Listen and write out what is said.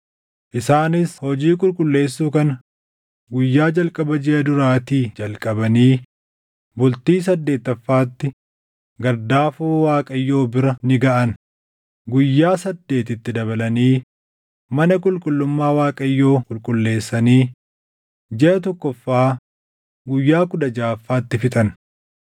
Isaanis hojii qulqulleessuu kana guyyaa jalqaba jiʼa duraatii jalqabanii bultii saddeettaffaatti gardaafoo Waaqayyoo bira ni gaʼan. Guyyaa saddeet itti dabalanii mana qulqullummaa Waaqayyoo qulqulleessanii jiʼa tokkoffaa guyyaa kudha jaʼaffaatti fixan.